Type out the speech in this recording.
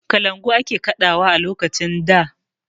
Kalangu ake kaɗawa a lokacin da.